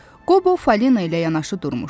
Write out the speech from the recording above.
Qobu Falina ilə yanaşı durmuşdu.